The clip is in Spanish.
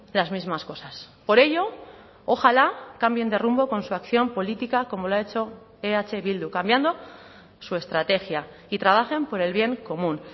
las mismas cosas por ello ojalá cambien de rumbo con su acción política como lo ha hecho eh bildu cambiando su estrategia y trabajen por el bien común